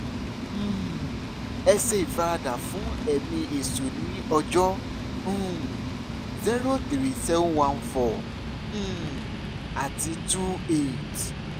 um ẹ ṣe ìfaradà fún ẹ̀mí èṣù ní ọjọ́ um 03714 um àti 28